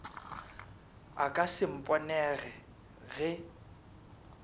a ka se mponego ge